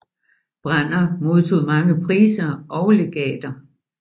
Branner modtog mange priser og legater